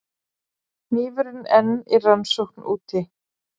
Hnífurinn enn í rannsókn úti